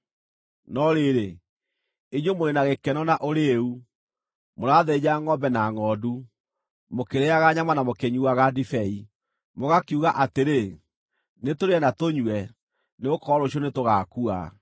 No rĩrĩ, inyuĩ mũrĩ na gĩkeno na ũrĩĩu, mũrathĩnja ngʼombe na ngʼondu, mũkĩrĩĩaga nyama na mũkĩnyuuaga ndibei! Mũgakiuga atĩrĩ, “Nĩtũrĩe na tũnyue, nĩgũkorwo rũciũ nĩtũgaakua!”